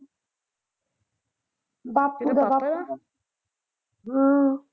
ਬਾਪੂ ਦਾ ਕਿਹਦਾ ਭਾਪੇ ਦਾ ਹਮ